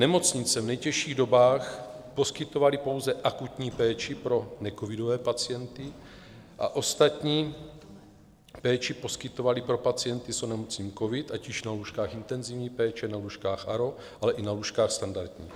Nemocnice v nejtěžších dobách poskytovaly pouze akutní péči pro necovidové pacienty a ostatní péči poskytovali pro pacienty s onemocněním covid, ať už na lůžkách intenzivní péče, na lůžkách ARO, ale i na lůžkách standardních.